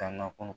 Taa na kɔnɔ